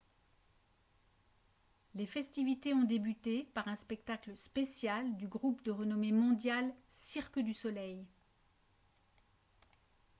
les festivités ont débuté par un spectacle spécial du groupe de renommée mondiale cirque du soleil